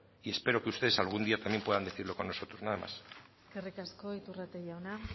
y espero que ustedes algún día también puedan decirlo con nosotros nada más eskerrik asko iturrate jauna